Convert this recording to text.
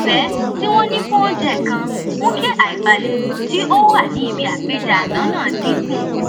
ìfé tí wọn ní fún oúnjẹ kan mú kí àìbalẹ tí ó wà ní ibi àpèjẹ àná náà dín kù